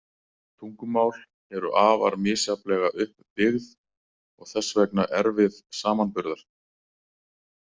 Tungumál eru afar misjafnlega upp byggð og þess vegna erfið samanburðar.